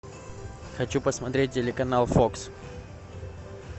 хочу посмотреть телеканал фокс